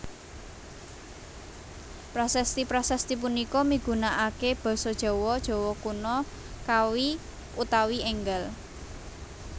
Prasasti prasasti punika migunakaké basa Jawa Jawa Kuna Kawi utawi énggal